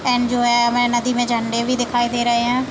And जो है हमे नदी में झंडे भी दिखाई दे रहे हैं।